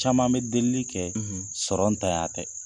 Caman bɛ delili kɛ sɔrɔ ntanya tɛ.